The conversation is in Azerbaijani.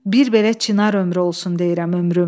Bir belə Çinar ömrü olsun deyirəm ömrüm.